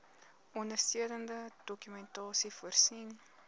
ondersteunende dokumentasie voorsien